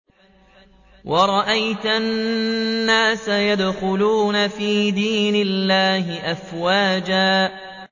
وَرَأَيْتَ النَّاسَ يَدْخُلُونَ فِي دِينِ اللَّهِ أَفْوَاجًا